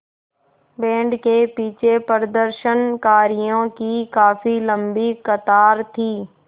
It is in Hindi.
बैंड के पीछे प्रदर्शनकारियों की काफ़ी लम्बी कतार थी